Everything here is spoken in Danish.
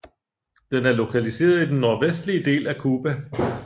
Den er lokaliseret i den nordvestlige del af Cuba